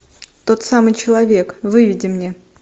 тот самый человек выведи мне